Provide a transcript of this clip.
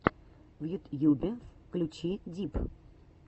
в ютьюбе включи дип